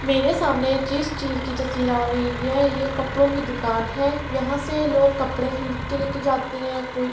معرع سامنع عک جیس چیز کی تاسطعر اےا حءا حای، ےع کپڑوں کی دکان ہے، ےاحان سع لہگ کپڑے خرید کے لعکع جاتع حای۔ کوئی--